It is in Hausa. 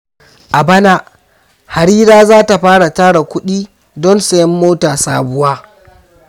A bana, Harira za ta fara tara kudi don sayen mota sabuwa.